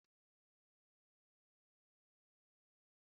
Tee jam na bred ahụ na rie ya